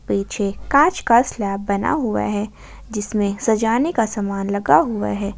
पीछे कांच का स्लैब बना हुआ है जिसमें सजाने का सामान लगा हुआ है ।